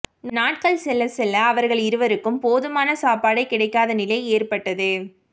நாட்கள் செல்லச் செல்ல அவர்கள் இருவருக்கும் போதுமான சாப்பாடே கிடைக்காத நிலை ஏற்பட்டது